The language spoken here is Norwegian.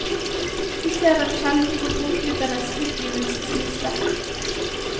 Vi ser dem sjelden på bokklubbenes utgivelseslister.